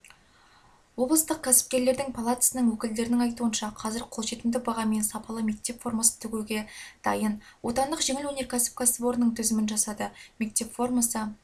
облыстық кәсіпкерлер палатасының өкілдерінің айтуынша қазір қолжетімді бағамен сапалы мектеп формасын тігуге дайын отандық жеңіл өнеркәсіп кәсіпорнының тізімін жасады мектеп формасы